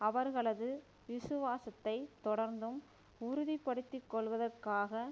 அவர்களது விசுவாசத்தை தொடர்ந்தும் உறுதிப்படுத்திக்கொள்வதற்காக